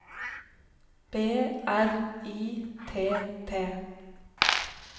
B R I T T